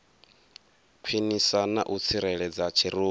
khwinisa na u tsireledza tshirunzi